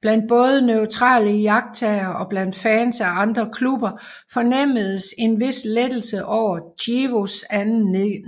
Blandt både neutrale iagttagere og blandt fans af andre klubber fornemmedes en vis lettelse over Chievos anden